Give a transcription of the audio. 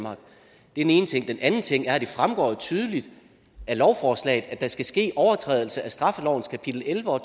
ene ting den anden ting er at det fremgår tydeligt af lovforslaget at der skal ske overtrædelse af straffelovens kapitel elleve og